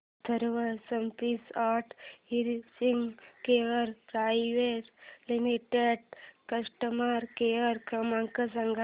Atharva Speech and Hearing Care Private Limited चा customer care क्रमांक सांगा